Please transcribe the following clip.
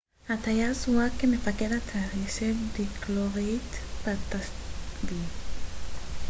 הטייס זוהה כמפקד הטייסת דילוקריט פאטאבי